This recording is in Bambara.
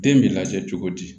Den bɛ lajɛ cogo di